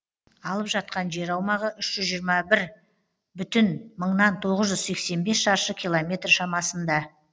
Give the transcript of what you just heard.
алып жатқан жер аумағы үш жүз жиырма бір бүтін мыңнан тоғыз жүз сексен бес шаршы километр шамасында